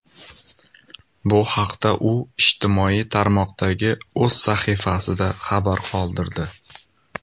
Bu haqda u ijtimoiy tarmoqdagi o‘z sahifasida xabar qoldirdi .